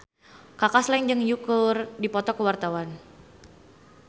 Kaka Slank jeung Yui keur dipoto ku wartawan